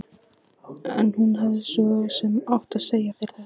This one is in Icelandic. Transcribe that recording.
En hún hefði svo sem mátt segja sér þetta.